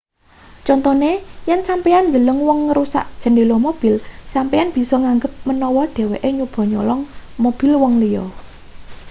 contone yen sampeyan ndeleng wong ngrusak jendhela mobil sampeyan bisa nganggep manawa dheweke nyoba nyolong mobil wong liya